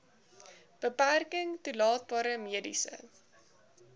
beperking toelaatbare mediese